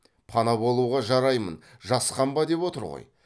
пана болуға жараймын жасқанба деп отыр ғой